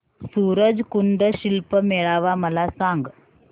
सूरज कुंड शिल्प मेळावा मला सांग